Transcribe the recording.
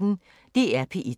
DR P1